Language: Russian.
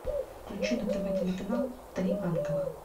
включи на тв телеканал три ангела